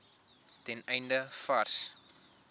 ten einde vars